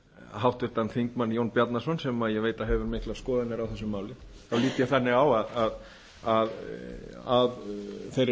háttvirtur þingmaður jón bjarnason sem ég veit að hefur miklar skoðanir á þessu máli þá lít ég þannig á að þeirri